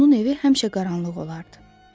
Onun evi həmişə qaranlıq olardı.